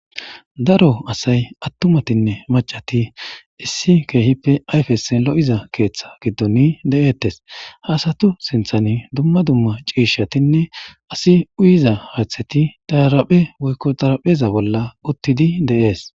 Daro asay atumatine maccati issi kehipe ayfes lo'iza keththa gidoni de'etes ha asatu sinttan duma duma cishatine asi uyiza haththati taraphe woykko tarapheza bolla uttidi de'es.